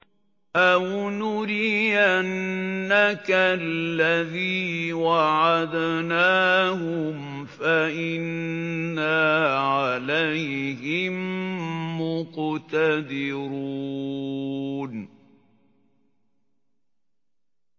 أَوْ نُرِيَنَّكَ الَّذِي وَعَدْنَاهُمْ فَإِنَّا عَلَيْهِم مُّقْتَدِرُونَ